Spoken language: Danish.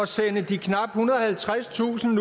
sende de knap ethundrede og halvtredstusind